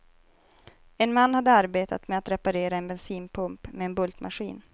En man hade arbetat med att reparera en bensinpump, med en bultmaskin.